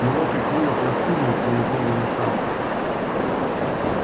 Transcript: его прикрыло пластинной из голубого металла